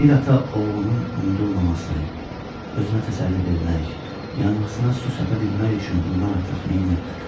Bir ata oğlunun unudulmaması, özünə təsəlli vermək, yanğısına su səpə bilmək üçün bundan artıq nə eləyə bilər?